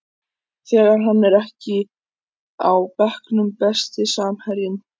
þegar hann er ekki á bekknum Besti samherjinn?